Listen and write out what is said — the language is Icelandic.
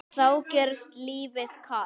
þá gjörist lífið kalt.